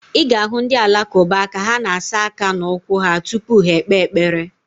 Ị ga-ahụ ndị Alakụba ka ha na-asa aka na ụkwụ ha tupu ha ekpe ekpere.